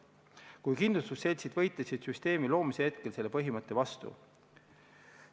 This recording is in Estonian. Kuid kindlustusseltsid võitlesid süsteemi loomise hetkel selle põhimõtte vastu.